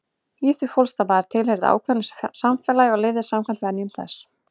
Í því fólst að maður tilheyrði ákveðnu samfélagi og lifði samkvæmt venjum þess.